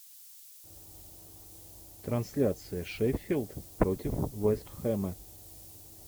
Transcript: трансляция шеффилд против вест хэма